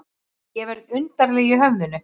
Ég verð undarleg í höfðinu.